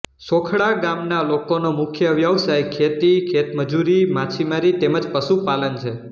શોખડા ગામના લોકોનો મુખ્ય વ્યવસાય ખેતી ખેતમજૂરી માછીમારી તેમ જ પશુપાલન છે